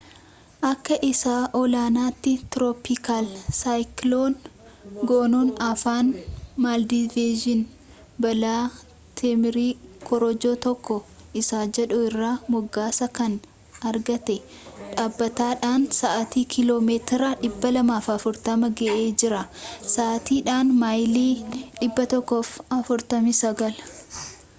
akka isa olaanaatti tirooppikaal saayikiloon goonun afaan maaldivsiin baala teemirii korojoo tokko isa jedhu irraa moggaasa kan argate dhaabbataadhaan sa’atiitti kiiloomeetira 240 ga’ee jira sa’aatiidhaan maayilii 149